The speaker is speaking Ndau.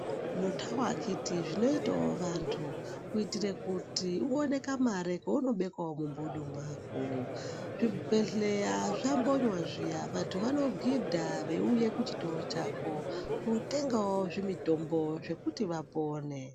Itawo akhiti zvinoitawo vantu kuitire kuti unone kamare kaunobekawo mumbudu mwako, zvibhedhlera zvambonywa zviya vantu vanogidha veiuya kuchitoro chako kutengawo zvimitombo zvekuti vapone.